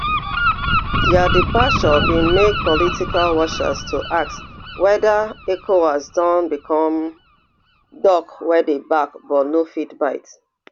dia departure bin make political watchers to ask whether ecowas don become dog wey dey bark but no fit bite